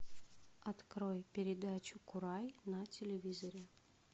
открой передачу курай на телевизоре